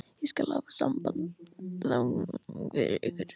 Ég skal hafa samband þangað fyrir ykkur.